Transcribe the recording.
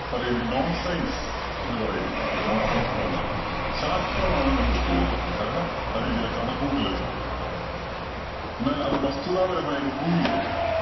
പറയുന്ന non science എന്നു പറയുന്ന സംഗതി. non science എന്നു പറഞ്ഞാൽ ശാസ്ത്രമാണെന്ന് നമുക്ക് തോന്നും. കാരണം അതിന് ചില കണക്കുകൂട്ടലുകൾ ഒക്കെ ഉണ്ട്. എന്നാൽ അത് വസ്തുതാപരമായി അത് prove ചെയ്തിട്ടില്ല.